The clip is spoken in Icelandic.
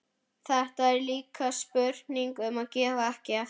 Þetta er líka spurning um að gefa ekki eftir.